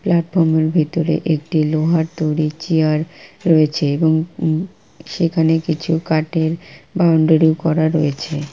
প্লাটফর্মের ভিতরে একটি লোহার তৈরি চেয়ার রয়েছে | এবং উম সেখানে কিছু কাঠের বাউন্ডারি করা রয়েছে।